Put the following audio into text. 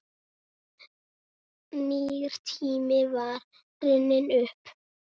Nýr tími var runninn upp.